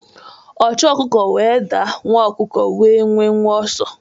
Ochu okuko nwe adaa, nwa okuko nwe nwenwe oso